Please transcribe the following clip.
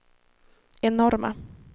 enorma